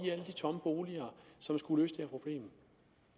tomme boliger som skulle her problem